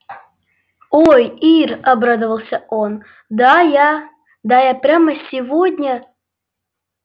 ой ир обрадовался он да я да я прямо сегодня